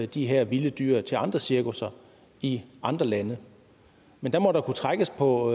de her vilde dyr til andre cirkusser i andre lande men der må der kunne trækkes på